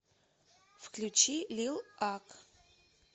включи лил ак